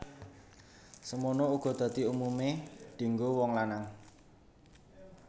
Semana uga dhasi umumé dienggo wong lanang